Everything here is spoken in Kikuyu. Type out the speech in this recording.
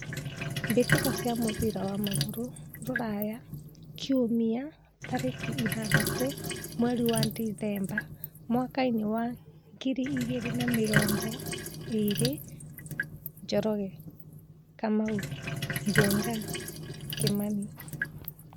Mbĩtĩka cia mũbira wa magũrũ Ruraya Kiumia tarĩki ithathatũ mweri wa Dithemba mwakainĩ wa ngiri igĩrĩ na mĩrongo ĩrĩ: Njoroge, Kamau, Njenga, Kimani.